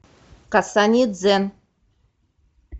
касание дзен